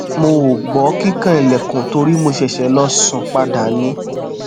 mo o gbọ kikan ilẹkun tori mo ṣèṣè lọ sun pada ni